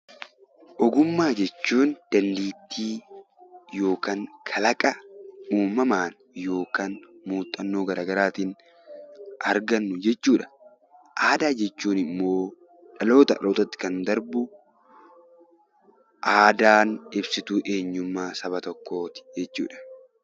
Ogummaa jechuun dandeettii yookiin kalaqa uumamaan yookiin muuxannoo garagaraatiin argannu jechuudha. Aadaa jechuun immoo dhalootaa gara dhalootaatti kan darbu ibsituu eenyummaa saba tokkooti.